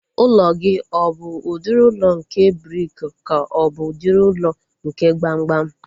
Ụlọ gị ọ bụ udiri ụlọ nke briki ka ọ bụ udiri ụlọ nke gbamgbam?